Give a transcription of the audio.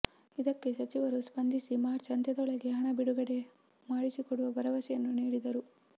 ಇದಕ್ಕೆ ಸಚಿವರು ಸ್ಪಂದಿಸಿ ಮಾರ್ಚ್ ಅಂತ್ಯದೊಳಗೆ ಹಣ ಬಿಡುಗಡೆ ಮಾಡಿಸಿಕೊಡುವ ಭರವಸೆಯನ್ನು ನೀಡಿದರು